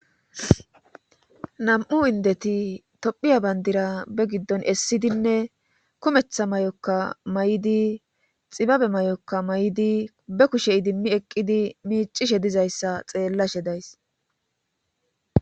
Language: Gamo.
nam7u indeti tophiya bandira be giddon essidinne kumetha may7okka may7idi xibabe may7okka may7idi be kushe idimmi eqqidi miicishe dizayssa xeellashe days